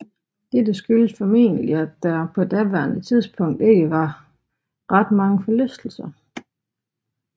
Dette skyldtes formentlig at der på daværende tidspunkt ikke var ret mange forlystelser